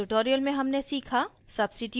इस tutorial में हमने सीखा